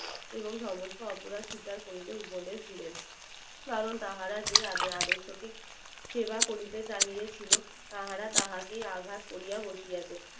এবং সমস্ত অপরাধ স্বীকার করিতে উপদেশ দিলেন কারণ তাহারা যে আদর্শ কে সেবা করিতে কাহিয়েছিলো তাহারা তাহাকে আঘাত করিয়া বসিয়াছে